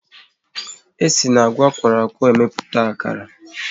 E si n'agwa akworo akwo emepụta akara